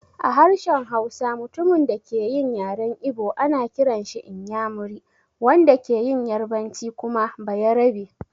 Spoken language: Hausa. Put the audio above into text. A harshen Hausa, mutumin da ke yin yaren Igbo ana kiranshi "inyamiri", wanda ke yin yarbanci kuma "bayarabe".